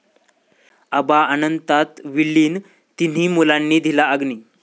आबा अनंतात विलीन, तिन्ही मुलांनी दिला अग्नी